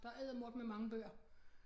Der eddermukkeme mange bøger